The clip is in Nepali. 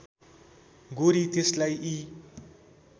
गोरी त्यसलाई यी